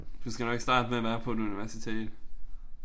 Du skal nok starte med at være på et universitet